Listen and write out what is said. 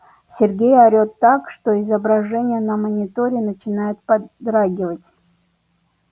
сергей орёт так что изображение на мониторе начинает подрагивать